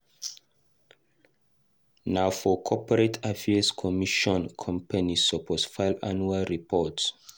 Na for Corporate Affairs Commission companies suppose file annual report.